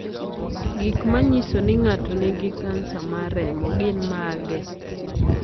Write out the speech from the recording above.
Gik manyiso ni ng'ato nigi kansa mar remo gin mage?